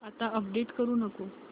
आता अपडेट करू नको